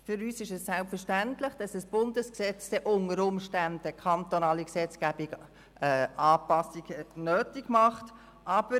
Für uns ist es selbstverständlich, dass ein Bundesgesetz unter Umständen Anpassungen in der kantonalen Gesetzgebung nötig machen wird.